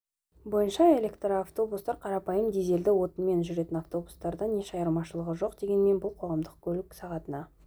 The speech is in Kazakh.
бойынша электроавтобустар қарапайым дизельді отынмен жүретін автобустардан еш айырмашылығы жоқ дегенмен бұл қоғамдық көлік сағатына